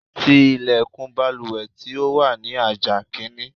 Ti ilẹ̀kùn baluwẹ̀ tí ó wà ní àjà kìíní.